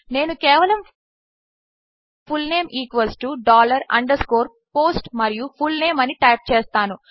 నేనుకేవలము full name underscore post మరియుfullnameఅనిటైప్చేస్తాను